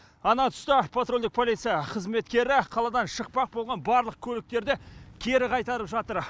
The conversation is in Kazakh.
ана түсті патрульдік полиция қызметкері қаладан шықпақ болған барлық көліктерді кері қайтарып жатыр